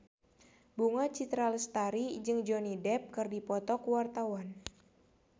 Bunga Citra Lestari jeung Johnny Depp keur dipoto ku wartawan